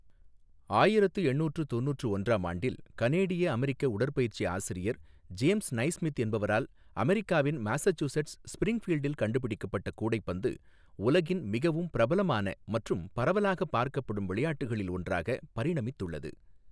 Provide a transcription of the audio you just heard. ஆயிரத்து எண்ணூற்று தொண்ணூற்று ஒன்றாம் ஆண்டில் கனேடிய அமெரிக்க உடற்பயிற்சி ஆசிரியர் ஜேம்ஸ் நைஸ்மித் என்பவரால் அமெரிக்காவின் மாசசூசெட்ஸ், ஸ்பிரிங்ஃபீல்டில் கண்டுபிடிக்கப்பட்ட, கூடைப்பந்து உலகின் மிகவும் பிரபலமான மற்றும் பரவலாக பார்க்கப்படும் விளையாட்டுகளில் ஒன்றாக பரிணமித்துள்ளது.